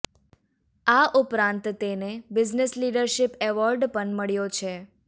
આ ઉપરાંત તેને બિઝનેસ લીડરશીપ એવોર્ડ પણ મળ્યો છે